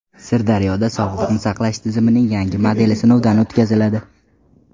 Sirdaryoda sog‘liqni saqlash tizimining yangi modeli sinovdan o‘tkaziladi.